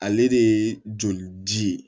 Ale de ye joli ji